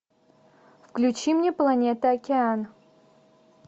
включи мне планета океан